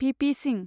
VP. Singh